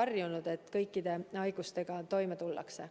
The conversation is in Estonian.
harjunud Eestis, kus haigustega paremini toime tullakse.